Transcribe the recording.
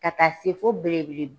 Ka taa se fo belebele